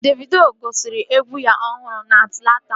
Davido gosiri egwu ya ọhụrụ a na Atlanta